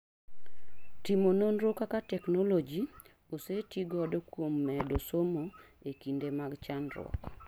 Timo nonro kaka technology ose ti godo kuom medo somo e kinde mage chandruok